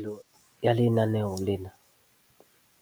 Tjhesehelo ya lenaneo lena